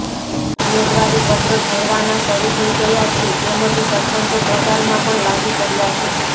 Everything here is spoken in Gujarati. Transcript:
ઉમેદવારી પત્રક ભરવાના શરૃ થઇ ગયા છે તેમજ સરપંચો પ્રચારમાં પણ લાગી પડયા છે